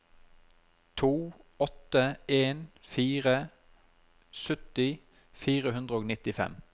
to åtte en fire sytti fire hundre og nittifem